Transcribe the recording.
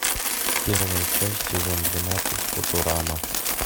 первая часть сезон двенадцать футурама